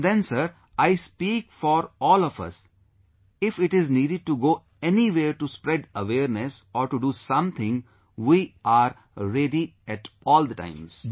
Even then, Sir, I speak for all of us, if it is needed to go anywhere to spread awareness, or to do something, we are ready at all times